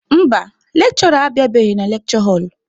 Mba, lekshụra abịabeghị na lekshure họlụ.